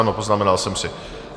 Ano, poznamenal jsem si.